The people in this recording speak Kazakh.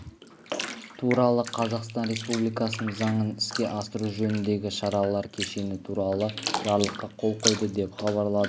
туралы қазақстан республикасының заңын іске асыру жөніндегі шаралар кешені туралы жарлыққа қол қойды деп хабарлады